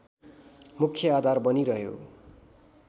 मुख्य आधार बनिरह्यो